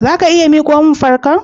Zaka iya miqon fankar?